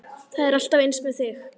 Það er alltaf eins með þig!